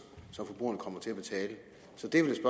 som forbrugerne kommer til at betale så det er vel